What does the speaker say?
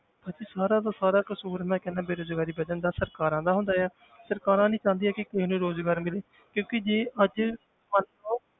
ਭਾਜੀ ਸਾਰਾ ਦਾ ਸਾਰਾ ਕਸ਼ੂਰ ਮੈਂ ਕਹਿਨਾ ਬੇਰੁਜ਼ਗਾਰੀ ਵੱਧਣ ਦਾ ਸਰਕਾਰਾਂ ਦਾ ਹੁੰਦਾ ਹੈ ਸਰਕਾਰਾਂ ਨੀ ਚਾਹੁੰਦੀਆਂ ਕਿ ਕਿਸੇ ਨੂੰ ਰੁਜ਼ਗਾਰ ਮਿਲੇ ਕਿਉਂਕਿ ਜੇ ਅੱਜ ਮੰਨ ਲਓ